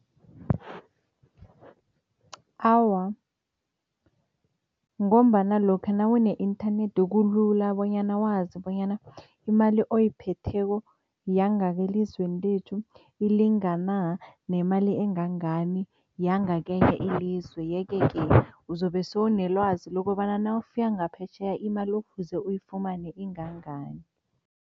Awa, ngombana lokha nawune-inthanethi kulula bonyana wazi bonyana imali oyiphetheko yangakelizweni lethu ilingana nemali engangani yangakenye ilizwe yeke-ke uzobe sewunelwazi lokobana nawufika ngaphetjheya imali ekufuze uyifumane ingangani.